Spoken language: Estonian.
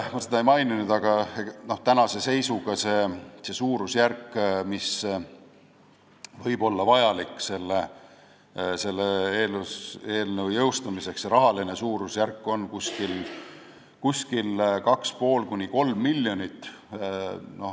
Ma seda ei maininud, aga tänase seisuga on rahaline suurusjärk, mis võib olla vajalik selle eelnõu jõustumiseks, 2,5–3 miljonit.